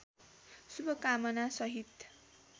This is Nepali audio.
शुभकामना सहित